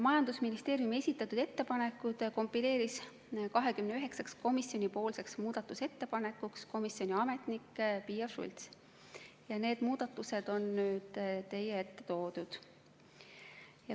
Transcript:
Majandusministeeriumi esitatud ettepanekud kombineeris 29-ks komisjoni muudatusettepanekuks komisjoni ametnik Piia Schults ja need muudatused on nüüd teie ette toodud.